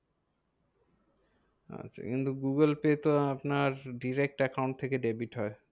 আচ্ছা কিন্তু Google Pay তো আপনার direct account থেকে debit হয়।